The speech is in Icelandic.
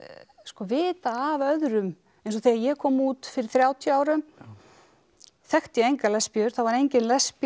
vita af öðrum eins og þegar ég kom út fyrir þrjátíu árum þekkti ég engar lesbíur það var engin lesbía